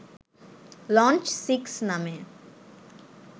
launch six নামে